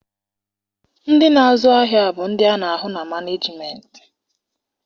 Ndị na-azụ ahịa bụ ndị a na-ahụ na manejimentị.